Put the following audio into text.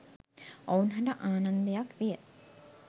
ඔවුන් හට ආනන්දයක් විය